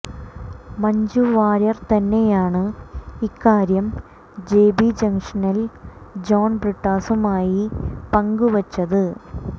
മഞ്ജു വാര്യർ തന്നെയാണ് ഇക്കാര്യം J B ജംഗ്ഷനിൽ ജോൺ ബ്രിട്ടാസുമായി പങ്കുവച്ചത്